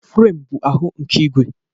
Firem bụ ahụ nke ígwè.